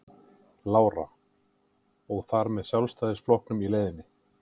Lára: Og og þar með Sjálfstæðisflokknum í leiðinni?